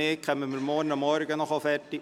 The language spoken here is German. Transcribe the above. Falls nicht, treffen wir uns morgen erneut.